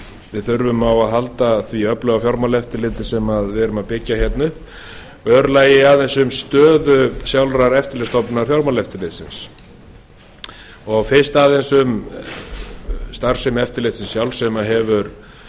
við þurfum á að halda því öfluga fjármálaeftirliti sem við erum að byggja upp og í öðru lagi aðeins um stöðu sjálfrar eftirlitsstofnunar fjármálaeftirlitsins fyrst aðeins um starfsemi eftirlitsins sjálfs sem hefur